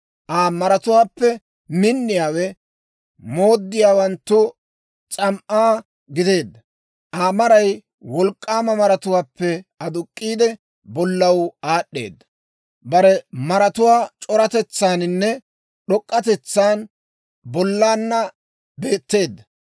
Aa maratuwaappe minniyaawe, mooddiyaawanttu s'am"aa gideedda. Aa maray wolk'k'aama maratuwaappe aduk'k'iide, bollaw aad'd'eeda. Bare maratuwaa c'oratetsaaninne d'ok'k'atetsan bollaanna beetteedda.